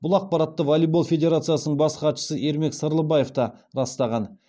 бұл ақпаратты волейбол федерациясының бас хатшысы ермек сырлыбаев та растаған